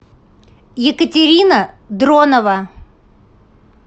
екатерина дронова